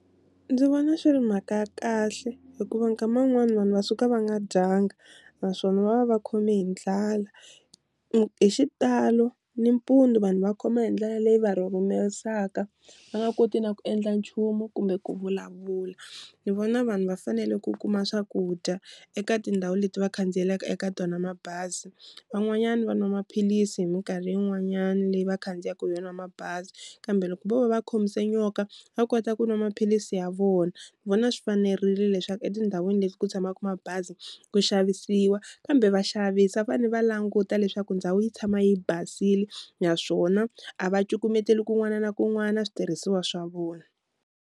Ndzi vona swi ri mhaka ya kahle hikuva nkama wun'wani vanhu va suka va nga dyanga naswona va va va khome hi ndlala, hi xitalo nimpundzu vanhu va khoma hi ndlala leyi va rhurhumerisaka va nga koti na ku endla nchumu kumbe ku vulavula, ni vona vanhu va fanele ku kuma swakudya eka tindhawu leti va khandziyelaka eka tona mabazi van'wanyana va nwa maphilisi hi minkarhi yin'wanyana leyi va khandziyaka hi yona mabazi, kambe loko vo va va khomise nyoka va kota ku nwa maphilisi ya vona, ni vona swi fanerile leswaku etindhawini leti ku tshamaka mabazi ku xavisiwa kambe va xavisi va fanele va languta leswaku ndhawu yi tshama yi basile naswona a va cukumeteli kun'wana na kun'wana switirhisiwa swa vona.